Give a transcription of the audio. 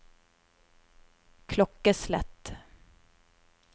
klokkeslett